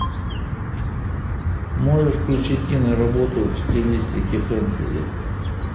можешь включить киноработу в стилистике фэнтези